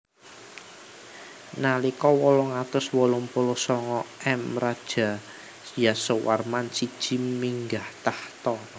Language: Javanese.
Nalika wolung atus wolung puluh sanga M Raja Yasowarman siji minggah takhta